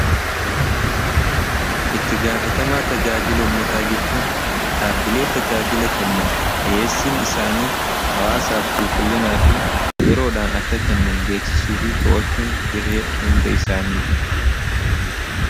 Itti gaafatamaa tajaajila ummataa jechuun dhaabbilee tajaajila kennan dhiheessiin isaanii hawaasaaf qulqullinaa fi yeroodhaan akka kennan beeksisuu fi to'achuun gahee hunda isaaniiti.